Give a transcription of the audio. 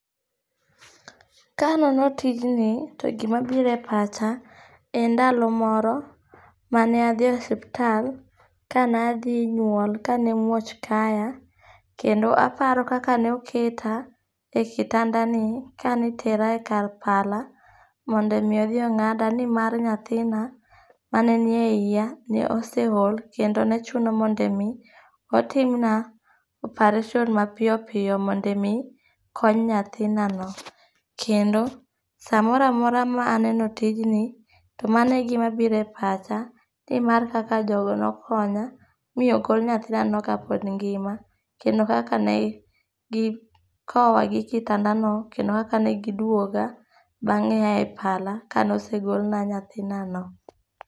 Kanono tijni, to gima biro e pacha, en ndalo moro mane adhi e suptal, kane adhi nyuol, kane muoch kaya. Kendo aparo kaka ne oketa e kitandani, kane itera e kar pala mondo omi odhi ongáda, ni mar nyathina, maneni e iya, ne oseol. Kendo ne chuno ni mondo omi, otimna operation mapiyo piyo mondo omi kony nyathinano. Kendo saa moro amora ma aneno tijni to mano e gima biro e pacha, ni mar kaka jogo nokonya, mi ogol nyathinano kapog ngima, kendo kaka ne gikowa gi kitandano, kendo kaka negidwoga bangé ae pala kaneosegolna nyathinano.